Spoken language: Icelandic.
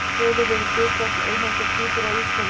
Eru til tölur yfir hlutfall eineggja tvíbura á Íslandi?